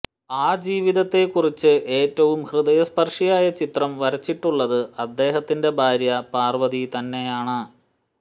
ആ ജീവിതത്തെ കുറിച്ച് ഏറ്റവും ഹൃദയസ്പര്ശിയായ ചിത്രം വരച്ചിട്ടിട്ടുള്ളത് അദ്ദേഹത്തിന്റെ ഭാര്യ പാര്വതി തന്നെയാണ്